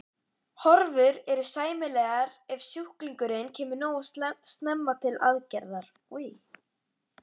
Horfur eru sæmilegar ef sjúklingurinn kemur nógu snemma til aðgerðar.